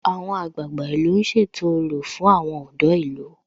Àwọn àgbààgbà ìlú ń ṣètò orò fún àwọn ọ̀dọ́ ìlú